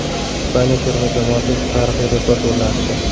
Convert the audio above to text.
Ispaniya terma jamoasi tarixiy rekord o‘rnatdi.